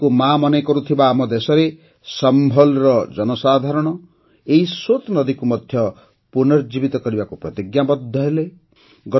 ନଦୀକୁ ମାଆ ମନେକରୁଥିବା ଆମ ଦେଶରେ ସମ୍ଭଲ୍ର ଜନସାଧାରଣ ଏହି ସୋତ୍ ନଦୀକୁ ମଧ୍ୟ ପୁନର୍ଜୀବିତ କରିବାକୁ ପ୍ରତିଜ୍ଞା କଲେ